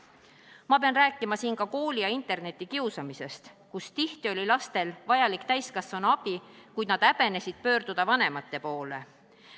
Ma pean siinkohal rääkima ka kooli- ja internetikiusamisest, kus tihti oli lastel vajalik täiskasvanute abi, kuid nad häbenesid pöörduda vanemate poole.